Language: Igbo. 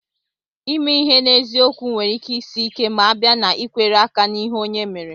Ime ihe n'eziokwu nwere ike Sie ike ma a bịa n'ikwere aka n'ihe Onye méré